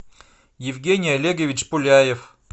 евгений олегович пуляев